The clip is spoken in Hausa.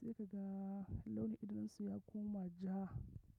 ciwo sai ka ga launin idon su ya koma ja.